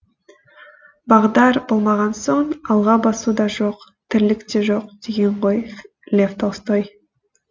бағдар болмаған соң алға басу да жоқ тірлік те жоқ деген ғой лев толстой